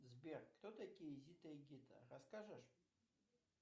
сбер кто такие зита и гита расскажешь